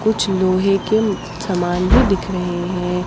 कुछ लोहे के सामान भी दिख रहे हैं ।